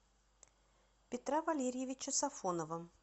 петра валерьевича сафонова